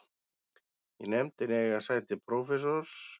Í nefndinni eiga sæti prófessor